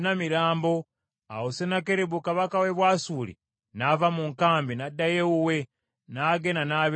Awo Sennakeribu kabaka w’e Bwasuli n’ava mu nkambi, n’addayo ewuwe, n’agenda n’abeera e Nineeve.